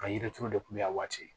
Ka yirituru de kunbɛ a waati